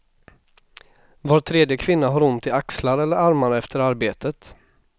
Var tredje kvinna har ont i axlar eller armar efter arbetet.